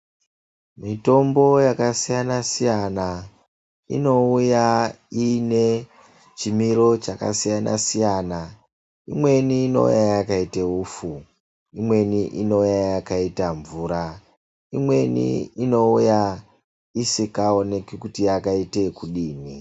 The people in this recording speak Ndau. Mitombo yakasiyana siyana inouya iine chimiro chakasiyana siyana imweni inouya yakaita upfu imweni inouya yakaita mvura imweni inouya isingaoneki kuti yakaita yekudini.